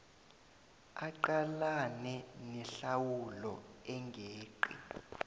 aqalane nehlawulo engeqi